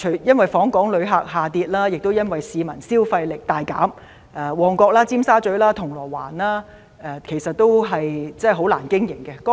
因為訪港旅客人數下跌，亦因為市民消費力大減，旺角、尖沙咀、銅鑼灣的商店都難以經營。